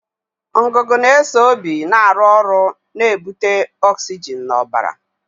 Ngụgụ na-eso obi na-arụ ọrụ na-ebute ọksijin n'ọbara.